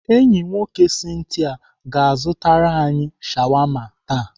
Enyi nwoke Cynthia ga-azụtara anyị shawama taa.